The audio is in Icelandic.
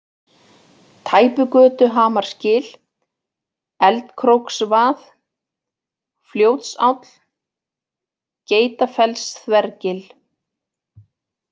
Tæpugötuhamarsgil, Eldkróksvað, Fljótsáll, Geitafellsþvergil